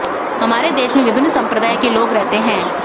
हमारे देश में विभिन्न सम्प्रदाय के लोग रहते हैं